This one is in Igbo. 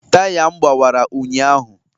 Taya m gbawara ụnyahụ.